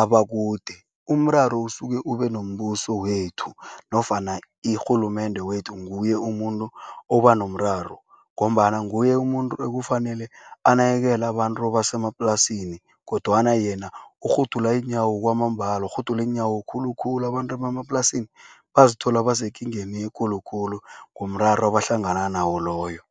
abakude. Umraro usuke ube nombuso wethu nofana irhulumende wethu nguye umuntu oba nomraro ngombana nguye umuntu ekufanele anakekele abantu basemaplasini kodwana yena urhudula iinyawo kwamambalo, urhudula iinyawo khulukhulu, abantu bemaplasini bazithola basekingeni ekulu khulu komraro abahlangana nawo loyo.